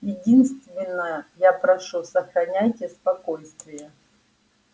единственное я прошу сохраняйте спокойствие